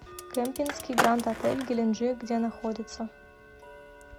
кемпински гранд отель геленджик где находится